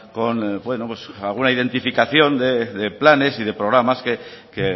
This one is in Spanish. con alguna identificación de planes y de programas que